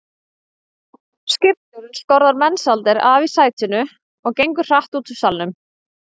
Skipstjórinn skorðar Mensalder af í sætinu og gengur hratt út úr salnum.